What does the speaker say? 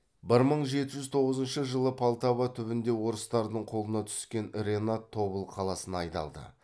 бір мың жеті жүз тоғызыншы жылы полтава түбінде орыстардың қолына түскен ренат тобыл қаласына айдалды